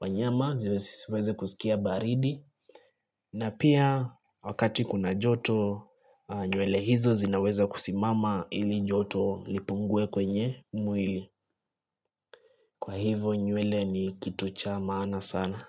wanyama zisiweze kusikia baridi. Na pia wakati kuna joto nywele hizo zinaweza kusimama ili joto lipungue kwenye mwili. Kwa hivyo nywele ni kitu cha maana sana.